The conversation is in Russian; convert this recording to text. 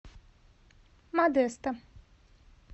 модесто